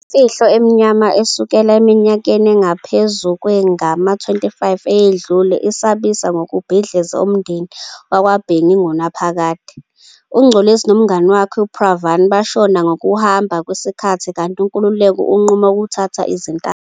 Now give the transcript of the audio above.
Imfihlo emnyama esukela eminyakeni engaphezu kwengama-25 eyedlule isabisa ngokubhidliza umndeni wakwaBhengu ingunaphakade. UNgcolosi nomngani wakhe uPranav bashona ngokuhamba kwesikhathi kanti uNkululeko unquma ukuthatha izintambo.